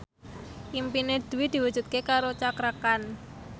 impine Dwi diwujudke karo Cakra Khan